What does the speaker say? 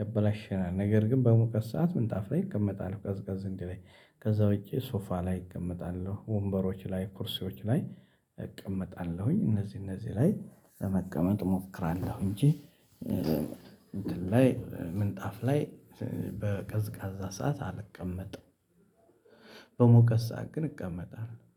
ያበላሸናል ነገር ግን በሙቀት ሰዓት ምንጣፍ ላይ እቀመጣለሁ ቀዝቀዝ እንዲለኝ ከዛ ውጪ ሶፋ ላይ እቀመጣለሁ ወንበሮች ላይ ኩርሴዎች ላይ እቀመጣለሁኝ። እነዚህ እነዚህ ላይ ለመቀመጥ እሞክራለሁ እንጂ እንትን ላይ ምንጣፍ ላይ በቀዝቃዛ ሰዓት አልቀመጥም። በሙቀት ሰዓት ግን እቀመጣለሁ